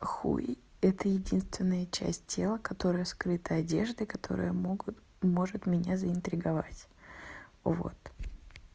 хуй это единственная часть тела которая скрыта одеждой которая могут может меня заинтриговать вот